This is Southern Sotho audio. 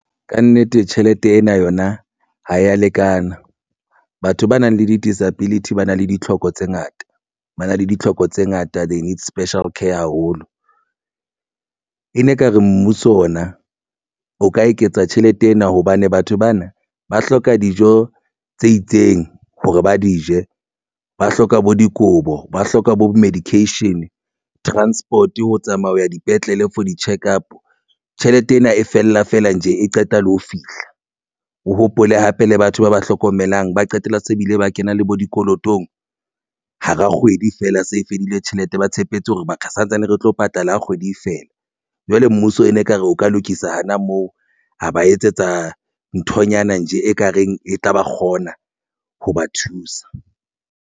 Kannete tjhelete ena yona ha ya lekana. Batho ba nang le di-disability ba na le ditlhoko tse ngata ba na le ditlhoko tse ngata. They need special care haholo e ne ekare mmuso ona o ka eketsa tjhelete ena hobane batho bana ba hloka dijo tse itseng hore ba di je ba hloka bo dikobo, ba hloka bo medication transport ho tsamaya ho ya dipetlele for di-check up. Tjhelete ena e fella feela ntje e qeta le ho fihla. O hopole hape le batho ba ba hlokomelang ba qetella se bile ba kena le bo dikolotong hara kgwedi fela se e fedile tjhelete ba tshepetse hore baka santsane re tlo patala kgwedi feela. Jwale mmuso e ne ekare o ka lokisa hana moo a ba etsetsa nthonyana nje ekareng e tla ba kgona ho ba thusa.